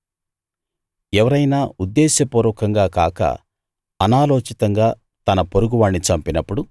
ఎవరైనా ఉద్దేశపూర్వకంగా కాక అనాలోచితంగా తన పొరుగువాణ్ణి చంపినప్పుడు